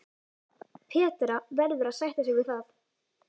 Petra verður að sætta sig við það.